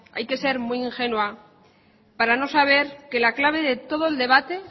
hay que ser muy ingenua para no saber que la clave de todo el debate